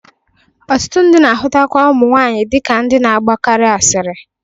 Ọtụtụ ndị na-ahụtakwa ụmụ nwaanyị dị ka ndị na-agbakarị asịrị.